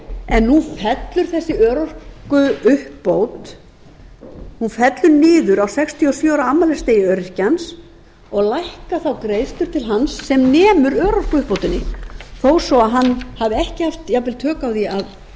en nú fellur þessi örorkuuppbót niður á sextíu og sjö ára afmælisdegi öryrkjans og lækka þá greiðslur til hans sem nemur örorkuuppbótinni þó svo að hann hafi ekki haft jafnvel tök á því